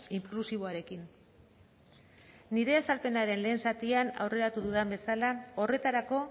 inklusiboarekin nire azalpenaren lehen zatian aurreratu dudan bezala horretarako